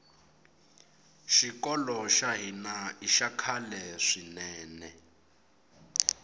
xikolo xa hina ixa khale swinene